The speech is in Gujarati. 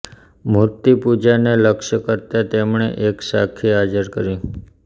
મૂર્ત્તિ પૂજાને લક્ષ્ય કરતાં તેમણે એક સાખી હાજર કરી